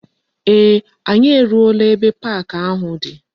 Ee, anyi eruola ebe park ahu di.